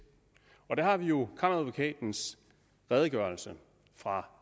og der har vi jo kammeradvokatens redegørelse fra